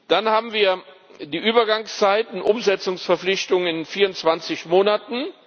Dann haben wir die Übergangszeiten, Umsetzungsverpflichtung in 24 Monaten.